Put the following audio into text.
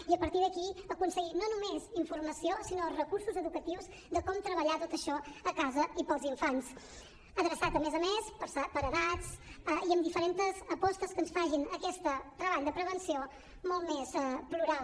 i a partir d’aquí aconseguir no només informació sinó recursos educatius de com treballar tot això a casa i per als infants adreçat a més a més per edats i amb diferentes apostes que ens facin aquest treball de prevenció molt més plural